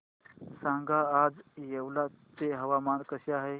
सांगा आज येवला चे हवामान कसे आहे